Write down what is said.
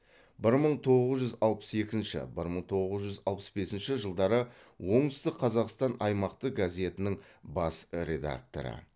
бір мың тоғыз жүз алпыс екінші бір мың тоғыз жүз алпыс бесінші жылдары оңтүстік қазақстан аймақтық газетінің бас редакторы